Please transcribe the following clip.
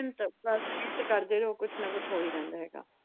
ਮਿਹਨਤ ਬਸ ਮਿਹਨਤ ਕਰਦੇ ਰਹੋ ਕੁਛ ਨਾ ਕੁਛ ਹੋਈ ਜਾਂਦਾ ਹੈਗਾ।